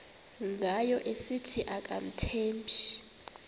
ngayo esithi akamthembi